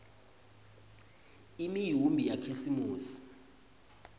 imiumbi yakhisimusi